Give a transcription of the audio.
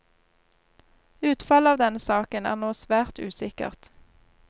Utfallet av denne saken er nå svært usikkert.